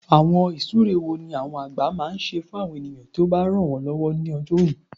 Awọn oṣu wo ni igbagbogbo jẹ apakan ti akoko ojo?